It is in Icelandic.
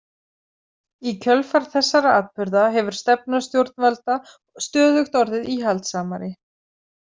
Í kjölfar þessara atburða hefur stefna stjórnvalda stöðugt orðið íhaldssamari.